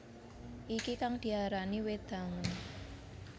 Iki kang diarani wedangen